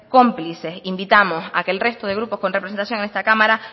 cómplices invitamos a que el resto de grupos con representación en esta cámara